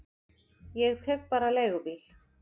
Ég tek bara leigubíl.